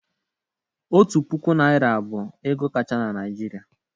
Otu puku naira bụ ego kacha na Naijiria.